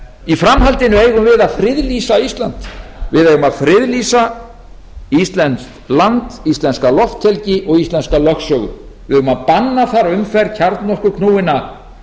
í framhaldinu eigum við að friðlýsa ísland við eigum að friðlýsa íslenskt land íslenska lofthelgi og íslenska lögsögu við eigum að banna þar umferð kjarnorkuknúinna